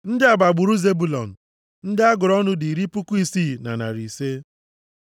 Ndị a bụ agbụrụ Zebụlọn. Ndị a gụrụ ọnụ dị iri puku isii na narị ise (60,500).